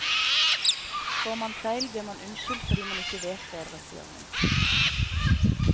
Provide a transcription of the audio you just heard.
Trår man feil, blir man unnskyldt fordi man ikke vet bedre, sier hun.